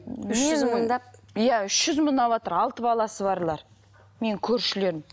үш жүз мыңдап иә үш жүз мың алыватыр алты баласы барлар менің көршілерім